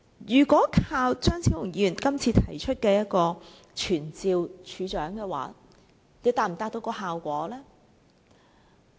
如果單靠張超雄議員今次提出傳召署長，又能否達到效果？